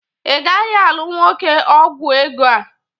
Ị gaghị alụ nwoke ọgwọ ego a